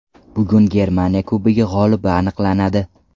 Bugun Germaniya Kubogi g‘olibi aniqlanadi.